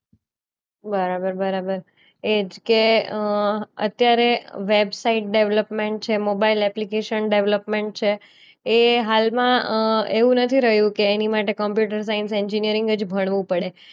બરાબર બરાબર એ જ કે અ અત્યારે વેબસાઈટ ડેવલપમેન્ટ છે, મોબાઇલ એપ્લિકેશન ડેવલપમેન્ટ છે એ હાલમાં અ એવું નથી રહ્યું કે એની માટે કમ્પ્યુટર સાયન્સ એન્જિનિયરિંગ જ ભણવું પડે